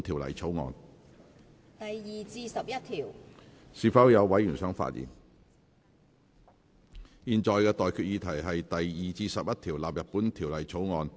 我現在向各位提出的待決議題是：第2至11條納入本條例草案。